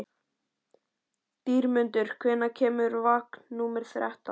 Dýrmundur, hvenær kemur vagn númer þrettán?